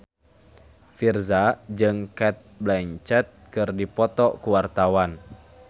Virzha jeung Cate Blanchett keur dipoto ku wartawan